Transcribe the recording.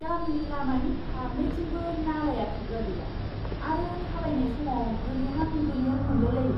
गामिनि लामानि फारनैथिंबो नालाया खोबग्रा गैया आरो थाबायनाय समाव गोलैहां गोलैहां मोनलायलायो!